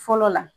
Fɔlɔ la